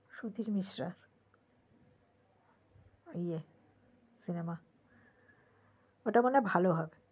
সুধীর মিশ্রা ওই সিনেমাটা বোধহয় ভালোই হবে